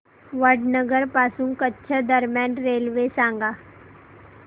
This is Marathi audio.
वडनगर पासून कच्छ दरम्यान रेल्वे सांगा